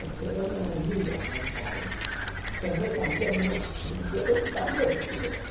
Porque eu me uni a meu pai, tomei também meus brinquedos e também os tirei.